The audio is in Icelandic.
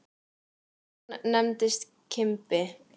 Hann nefndist Kimbi.